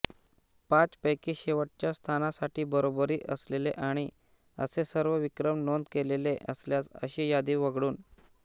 पाचपैकी शेवटच्या स्थानासाठी बरोबरी असलेले आणि असे सर्व विक्रम नोंद केलेले असल्यास अशी यादी वगळून